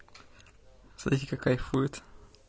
смотрите как кайфует